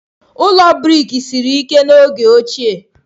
Ụlọ brik siri ike n'oge ochie.